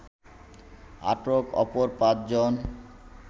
আটক অপর পাঁচজন